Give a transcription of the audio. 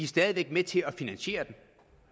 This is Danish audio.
stadig væk med til at finansiere den